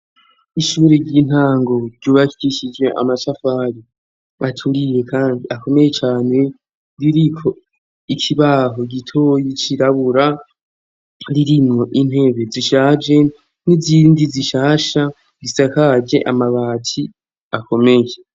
Ishuri ry'intango ryubakishijwe amatafari aturiye kandi akomeye cane ; ririko ikibaho gitoyi cirabura, ririmo intebe zishaje n'izindi zishasha bisakaje amabati akomeye.